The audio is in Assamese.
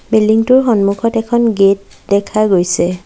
বিল্ডিং টোৰ সন্মুখত এখন গেট দেখা গৈছে।